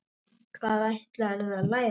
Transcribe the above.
Hvað ætlarðu að læra?